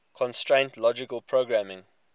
constraint logic programming